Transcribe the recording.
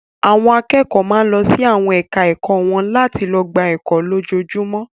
Àwọn akẹ́kọ̀ọ́ máa ń lọ sí àwọn ẹ̀ka-ẹ̀kọ́ wọn láti lọ gba ẹkọ́ lójoojúmọ́.